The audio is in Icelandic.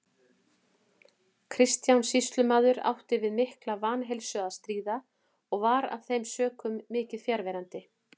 Kristján sýslumaður átti við mikla vanheilsu að stríða og var af þeim sökum mikið fjarverandi.